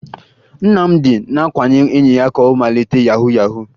Nnamdị na-akwanye enyi ya ka ọ malite yahu yahu